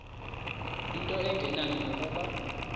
into engenani nokuba